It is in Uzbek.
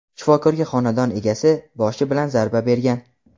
Shifokorga xonadon egasi boshi bilan zarba bergan.